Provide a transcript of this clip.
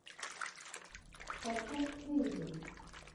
подкаст хэйви